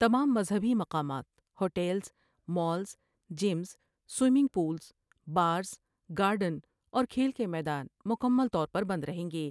تمام مذہبی مقامات ، ہوٹلز ، مالز جیس ، سویمنگ پولس ، بارس ، گارڈن اور کھیل کے میدان مکمل طور پر بند رہیں گے ۔